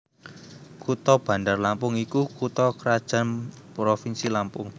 Kutha Bandar Lampung iku kutha krajan provinsi Lampung